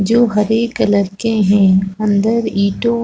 जो हरे कलर के है अंदर ईंटो --